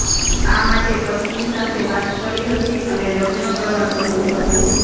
આ માટે પત્ની સાથે વાત કરી હતી અને લગ્ન કરવા કહ્યુ હતુ